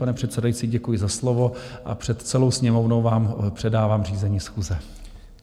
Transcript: Pane předsedající, děkuji za slovo a před celou Sněmovnou vám předávám řízení schůze.